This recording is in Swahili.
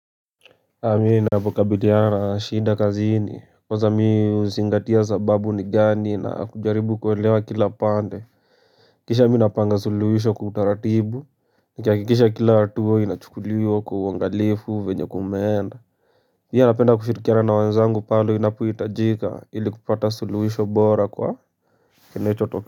Mi ninavyokabiliana na shinda kazini kwanza mi huzingatia sababu ni gani na kujaribu kuelewa kila pande Kisha mi napanga suluhisho kwa utaratibu Nikihakikisha kila hatuwa inachukuliwa kwa uangalifu venye kumeenda mi napenda kushirikina na wenzangu pale inapoitajika ili kupata suluhisho bora kwa kinacho tokea.